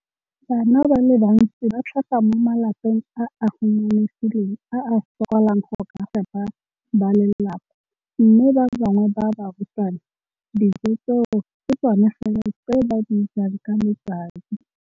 Bana ba le bantsi ba tlhaga mo malapeng a a humanegileng a a sokolang go ka fepa ba lelapa mme ba bangwe ba barutwana, dijo tseo ke tsona fela tse ba di jang ka letsatsi.